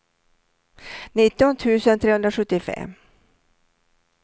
nitton tusen trehundrasjuttiofem